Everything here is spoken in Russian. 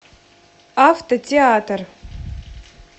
автотеатр